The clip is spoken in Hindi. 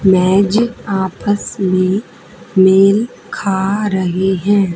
मैजिक आपस में मेल खा रही हैं।